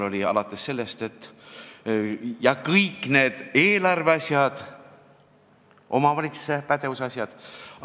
Põhjuseks kõik need eelarve asjad, omavalitsuse pädevuse asjad ...